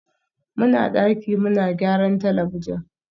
muna daki muna gyaran talabijin